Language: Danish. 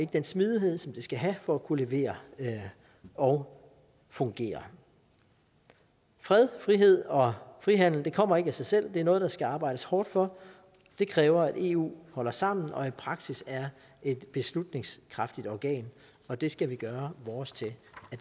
den smidighed som det skal have for at kunne levere og fungere fred frihed og frihandel kommer ikke af sig selv det er noget der skal arbejdes hårdt for det kræver at eu holder sammen og i praksis er et beslutningskraftigt organ og det skal vi gøre vores til